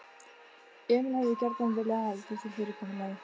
Emil hefði gjarnan viljað halda því fyrirkomulagi.